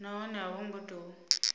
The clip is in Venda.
nahone a vho ngo tou